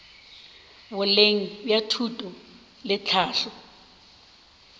boleng bja thuto le tlhahlo